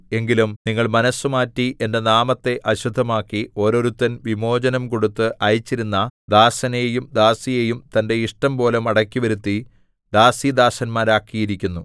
എങ്കിലും നിങ്ങൾ മനസ്സുമാറ്റി എന്റെ നാമത്തെ അശുദ്ധമാക്കി ഓരോരുത്തൻ വിമോചനം കൊടുത്ത് അയച്ചിരുന്ന ദാസനെയും ദാസിയെയും തന്റെ ഇഷ്ടംപോലെ മടക്കിവരുത്തി ദാസീദാസന്മാരാക്കിയിരിക്കുന്നു